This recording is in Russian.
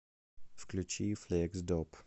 включи флексдоп